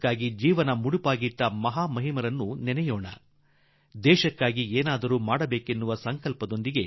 ಭಾರತಕ್ಕಾಗಿ ಜೀವ ತ್ಯಾಗ ಮಾಡಿದ ಮಹಾ ಪುರುಷರನ್ನು ಸ್ಮರಿಸೋಣ ಮತ್ತು ದೇಶಕ್ಕಾಗಿ ಕಿಂಚಿತ್ ಮಾಡುವ ಸಂಕಲ್ಪ ಮಾಡಿ